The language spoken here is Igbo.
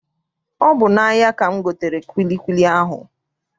Ọ bụ n'ahia ka m gotere kwilikwili ahụ